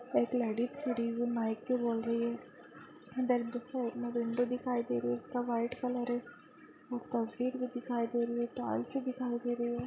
एक लेडिज खड़ी हुयी माईक पे बोल रही है धर साइड में विंडो दिखाइ दे रही है जिसका व्हाइट कलर है एक तस्वीर भी दिखाइ दे रही है टाईल्स भी दिखाइ दे रही है।